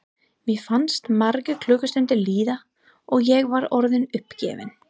Mér fannst margar klukkustundir líða og ég var orðin uppgefin.